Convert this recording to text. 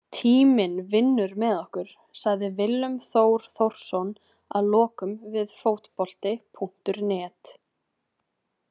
Tíminn vinnur með okkur, sagði Willum Þór Þórsson að lokum við Fótbolti.net.